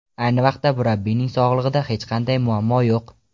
Ayni vaqtda murabbiyning sog‘lig‘ida hech qanday muammo yo‘q.